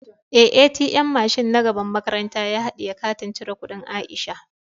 Eh, "ATM " mashin na gaban makaranta ya hadiye katin cire kudin Aisha.